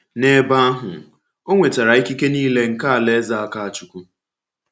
N’ebe ahụ, ọ nwetara ikike niile nke Alaeze Akáchukwú.